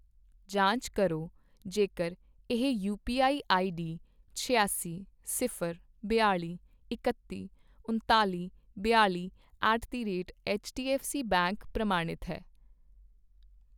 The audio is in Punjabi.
ਜਾਂਚ ਕਰੋ ਜੇਕਰ ਇਹ ਯੂਪੀਆਈ ਆਈਡੀ ਛਿਆਸੀ, ਸਿਫ਼ਰ, ਬਿਆਲ਼ੀ, ਇੱਕਤੀ, ਉਣਤਾਲ਼ੀ, ਬਿਆਲ਼ੀ at the rate HDFC bank ਪ੍ਰਮਾਣਿਤ ਹੈ